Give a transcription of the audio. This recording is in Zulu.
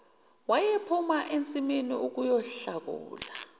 wayephuma ensimini ukuyohlakulela